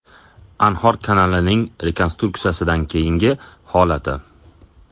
Anhor kanalining rekonstruksiyadan keyingi holati.